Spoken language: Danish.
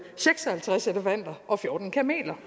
seks og halvtreds elefanter og fjorten kameler